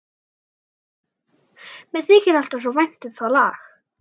Mér þykir alltaf svo vænt um það lag.